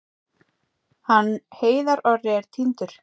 Hann Heiðar Orri er týndur.